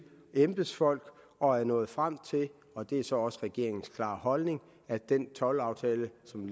embedsfolk og er nået frem til og det er så også regeringens klare holdning at den toldaftale som